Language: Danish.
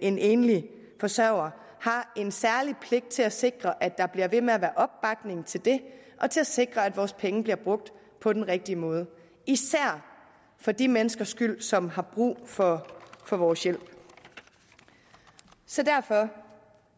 en enlig forsørger har en særlig pligt til at sikre at der bliver ved med at være opbakning til det og til at sikre at vores penge bliver brugt på den rigtige måde især for de menneskers skyld som har brug for for vores hjælp så derfor er